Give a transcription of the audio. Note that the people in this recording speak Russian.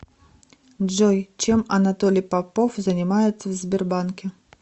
джой чем анатолий попов занимается в сбербанке